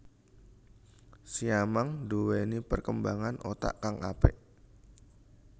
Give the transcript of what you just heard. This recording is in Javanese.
Siamang nduwéni perkembangan otak kang apik